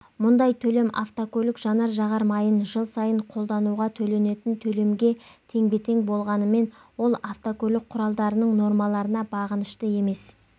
мұндай төлем автокөлік жанар-жағар майын жыл сайын қолдануға төленетін төлемге теңбе-тең болғанымен ол автокөлік құралдарының нормаларына бағынышты емес